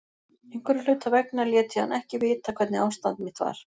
Einhverra hluta vegna lét ég hann ekki vita hvernig ástand mitt var.